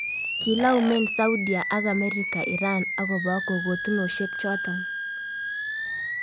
Kilaumen Saudia ak Amerika Iran akopo kokotunoshek chotok.